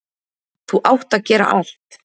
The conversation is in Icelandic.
ÞÚ ÁTT AÐ GERA ALLT.